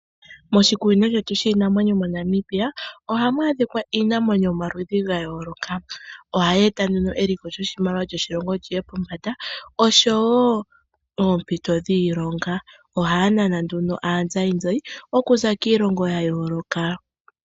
Moshikunino shetu shiinamwenyo moNamibia ohamu adhika iinamwenyo yomaludhi gayooloka. Oha yeeta nduno eliko lyoshimaliwa lyoshilongo liye pombanda oshowo oompito dhiilonga. ohaya nana nduno aazayizayi okuza kiilonga ya yooloka.